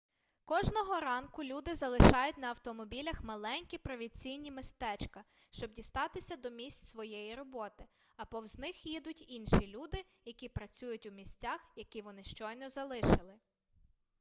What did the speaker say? кожного ранку люди залишають на автомобілях маленькі провінційні містечка щоб дістатися до місць своєї роботи а повз них їдуть інші люди які працюють у місцях які вони щойно залишили